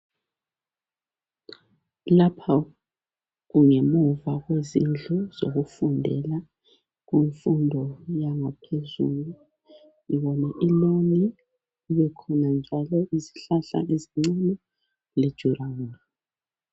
Lapha kungemuva kwendlu zokufundela kumfundo yaphezulu. Ngibona iloni kubekhona njalo izihlahla ezincane lomduli ogombolozele lindawo yokufundela.